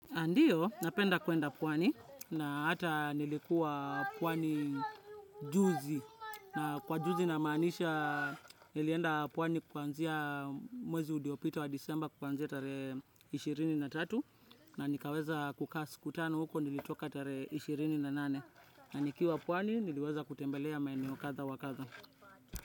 Aa ndiyo, napenda kwenda pwani na hata nilikuwa pwani juzi. Na kwa juzi namaanisha, nilienda pwani kwanzia mwezi udiopito wa disemba kwanzia tare ishirini na tatu na nikaweza kukaa si. Kutano huko nilitoka tarehe ishirini na nane na nikiwa pwani niliweza kutembelea maeneo kadha wa kadha.